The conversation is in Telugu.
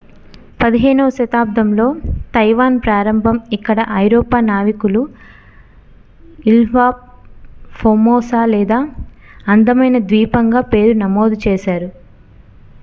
15వ శతాబ్దంలో తైవాన్ ప్రారంభం ఇక్కడ ఐరోపా నావికులు ఇల్హా ఫోర్మోసా లేదా అందమైన ద్వీపంగా పేరు నమోదు చేశారు